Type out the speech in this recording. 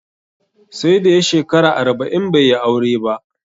Sai da ya shekara arba'in bai yi aure ba